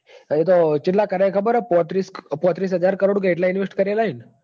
ચેટલા કર્યા હે ખબર હ પોત્રીસ પોત્રીસ હજાર કરોડ કે એટલા invest કરેલા હીન.